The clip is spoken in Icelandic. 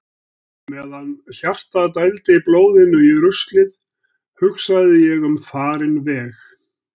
Meðan hjartað dældi blóðinu í ruslið hugsaði ég um farinn veg.